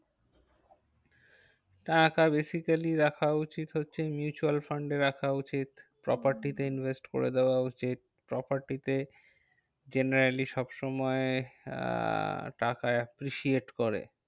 টাকা basically রাখা উচিত হচ্ছে mutual fund এ রাখা উচিত। property তে invest করে দেওয়া উচিত। property তে generally সব সময় আহ টাকা appreciate করে।